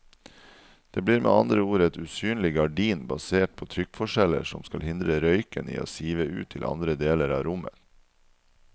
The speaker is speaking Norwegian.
Det blir med andre ord et usynlig gardin basert på trykkforskjeller som skal hindre røyken i å sive ut til andre deler av rommet.